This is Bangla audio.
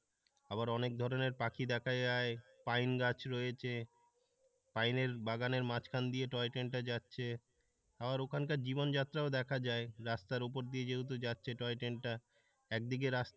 আবার অনেক ধরনের পাখি দেখা যায় পাইন গাছ রয়েছে পাইনের বাগানের মাঝখান দিয়ে টয়ট্রেনটা যাচ্ছে আবার ওখানকার জীবনযাত্রা ও দেখা যায় রাস্তার উপর দিয়ে যেহেতু যাচ্ছে টয় ট্রেনটা একদিকে রাস্তা।